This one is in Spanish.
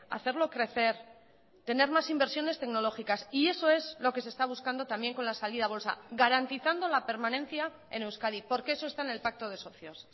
hacerlo crecer tener más inversiones tecnológicas y eso es lo que se está buscando también con la salida a bolsa garantizando la permanencia en euskadi porque eso está en el pacto de socios